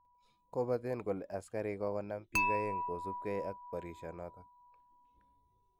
Kopaten kole asigarik kogonam pik oeng kosipikke ag porisionoton